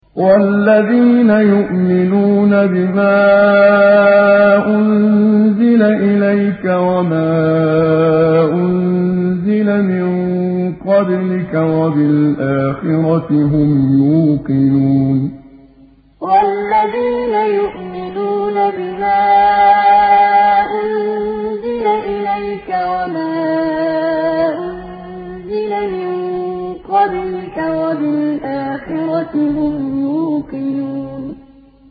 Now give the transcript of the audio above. وَالَّذِينَ يُؤْمِنُونَ بِمَا أُنزِلَ إِلَيْكَ وَمَا أُنزِلَ مِن قَبْلِكَ وَبِالْآخِرَةِ هُمْ يُوقِنُونَ وَالَّذِينَ يُؤْمِنُونَ بِمَا أُنزِلَ إِلَيْكَ وَمَا أُنزِلَ مِن قَبْلِكَ وَبِالْآخِرَةِ هُمْ يُوقِنُونَ